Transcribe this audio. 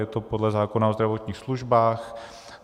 Je to podle zákona o zdravotních službách.